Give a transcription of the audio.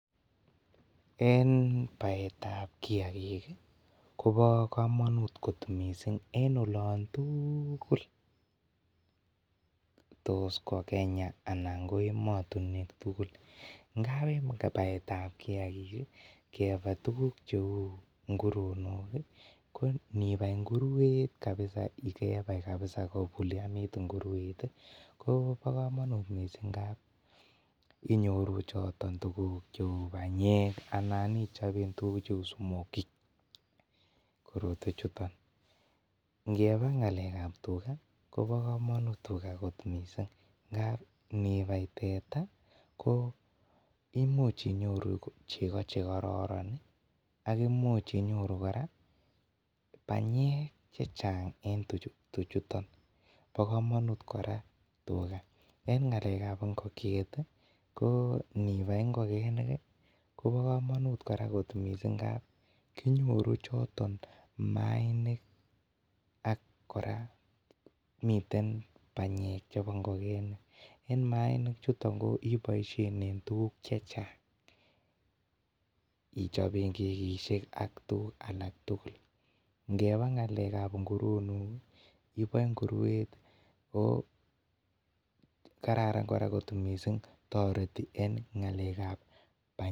Eng baet ab kiagiik koba kamanut koot missing en olaan tugul tos ko Kenya anan ko ematinweek tuguul ngaap eng baet ab kiagik kibai tuguuk che uu nguronook ii ko ininai nguruet kabisa ko bulianiit nguruet ii kobaa kamanuut missing ngaap inyoruu chotoon tuguuk che uu panyeek Anna ichapee tuguuk che uu smokie ngebaa ngalek ab tugaah kobaa kamanuut Missing tugaah ngaap nibai teta imuuch inyoruu chego che kororon ii ak imuuch imuuch inyoruu kora panyeek che chaang eng eng tuchuu chutoon bo kamanut kora tugaah eng ngalek ab ingokiet ii ko nibai ingokeniik ii koba kamanut kora koot missing ngaap kinyoruu chotoon maiinik ak kora miten panyeek chebo ingogenik eng mainik chutoon ko ibaisheen eng tuguuk che chaang ichapeen kegisiek ak tuguuk alaak tugul ngebaa ngalek ab nguronook ii ibaen nguruet oo kararan koot missing taretii eng ngalek ab panyeek.